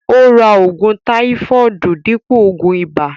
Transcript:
Ó ra ògùn táífọọdu dípò ògùn ìbà